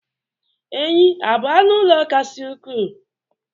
enyí a bụ anụ ala kasị ukwuu?